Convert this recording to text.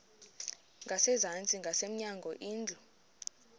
ngasezantsi ngasemnyango indlu